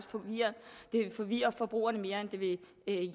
det vil forvirre forbrugerne mere end det vil